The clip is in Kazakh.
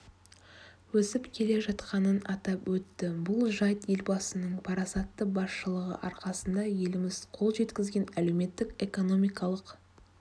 өсіп келе жатқанын атап өтті бұл жайт елбасының парасатты басшылығы арқасында еліміз қол жеткізген әлеуметтік-экономикалық